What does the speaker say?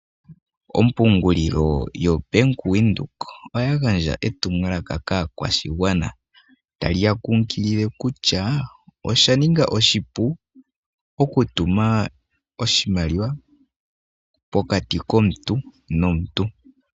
Ompungulilo yoBank Windhoek oyagandja etumwalaka kaakwashigwana taliyakunkilile kutya oshaninga oshipu okutuma oshimaliwa pokati komuntu nomuntu.